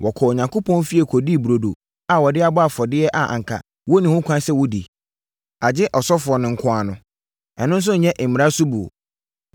Wɔkɔɔ Onyankopɔn fie kɔdii burodo a wɔde abɔ afɔdeɛ a anka wɔnni ho kwan sɛ wɔdi, agye ɔsɔfoɔ nko ara no. Ɛno nso yɛ mmara so buo?